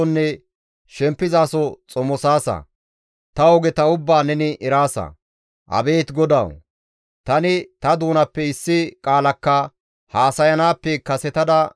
Abeet GODAWU! Tani ta doonappe issi qaalakka haasayanaappe kasetada neni ta qofa ubbaa eraasa.